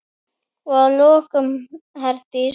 Og að lokum, Herdís.